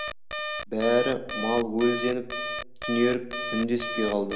бәрі малөлденіп түнеріп үндеспей қалды